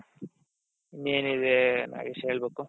ಏನಿದೆ ನಾಗೇಶ್ ಹೇಳ್ಬೇಕು